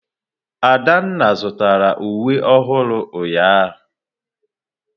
Adanna zụtara uwe ọhụrụ ụnyahụ.